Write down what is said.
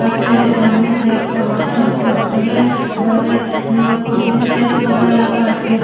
আছে এই সামনেতে একটা হোটেল আছে হোটেল -এর বাইরে অ্যা কুরসী চেয়ার সবাই লাগা আছে।